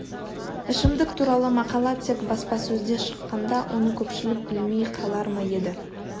ішімдік туралы мақала тек баспасөзде шыққанда оны көпшілік білмей қалар ма еді